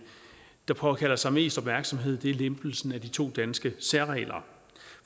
der påkalder sig mest opmærksomhed lempelsen af de to danske særregler